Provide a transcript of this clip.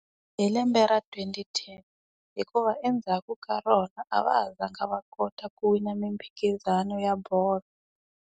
Hi lembe ra twenty ten. Hikuva endzhaku ka rona a va ha zanga va kota ku wina miphikizano ya bolo.